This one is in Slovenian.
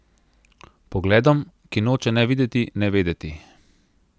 Pogledom, ki noče ne videti ne vedeti.